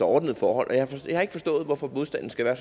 ordnede forhold jeg har ikke forstået hvorfor modstanden skal være